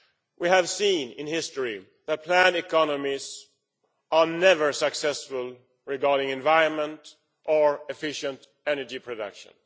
We have seen in history that planned economies are never successful regarding the environment or efficient energy production.